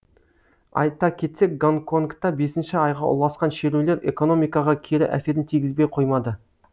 айта кетсек гонконгта бесінші айға ұласқан шерулер экономикаға кері әсерін тигізбей қоймады